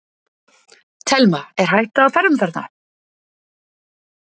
Telma: Er hætta á ferðum þarna?